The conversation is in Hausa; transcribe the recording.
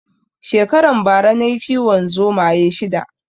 Shekaran bara nayi kiwon zomaye shida